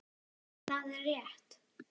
Það er rétt.